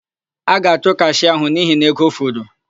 A ga-achụ kashịa áhụ̀ n'ihi na ego furu.